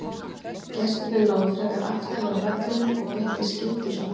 Gestirnir lágu frekar aftarlega á vellinum og beittu skyndisóknum.